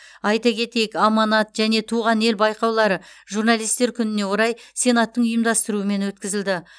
айта кетейік аманат және туған ел байқаулары журналистер күніне орай сенаттың ұйымдастыруымен өткізілді